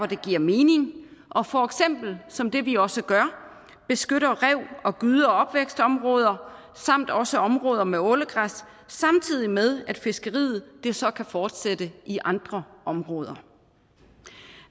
det giver mening og for eksempel som det vi også gør beskytter rev og gyde og opvækstområder samt også områder med ålegræs samtidig med at fiskeriet så kan fortsætte i andre områder